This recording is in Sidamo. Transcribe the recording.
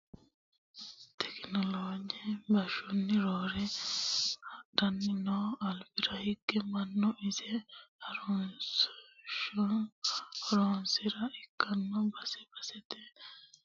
Tekinoloje bashshoni roore hadhanni no albira hige mannu ise harunsihuno horamessa ikkino base basete isinni wedellu duuchu coyinni ikkitino horameye.